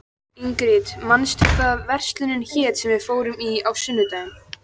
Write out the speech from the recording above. Ingrid, manstu hvað verslunin hét sem við fórum í á sunnudaginn?